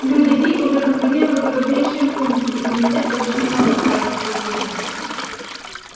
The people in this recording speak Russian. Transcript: люди ли уже контролировали важнейшие пункты и комитет больше не мог отдавать распоряжения